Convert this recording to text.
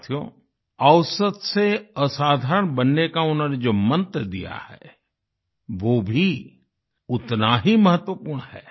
साथियो औसत से असाधारण बनने का उन्होंने जो मंत्र दिया है वो भी उतना ही महत्वपूर्ण है